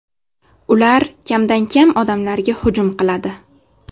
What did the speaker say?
Ular kamdan-kam odamlarga hujum qiladi.